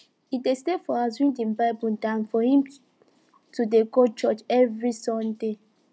he dey stay for house read im bible dan for im to dey go church every sunday